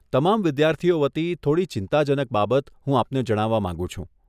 તમામ વિદ્યાર્થીઓ વતી, થોડી ચિંતાજનક બાબત હું આપને જણાવવા માંગું છું.